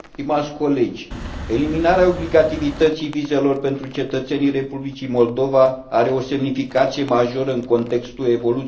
Eliminarea obligativității vizelor pentru cetățenii Republicii Moldova are o semnificație majoră în contextul evoluțiilor din Ucraina.